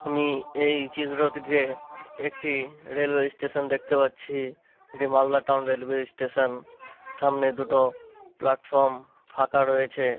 আমি এই চিত্রটিতে একটি রেলওয়েস্টেশন দেখতে পাচ্ছি। এটি মালদা টাউন রেলওয়ে স্টেশন । সামনে দুটো প্লাটফর্ম ফাঁকা রয়েছে।